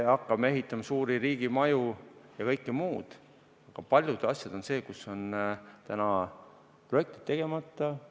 Hakkame ehitama suuri riigimaju ja kõike muud, aga paljud asjad on sellised, kus projektid on tegemata.